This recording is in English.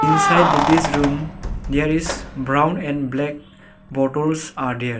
beside this room there is brown and black bottles are there.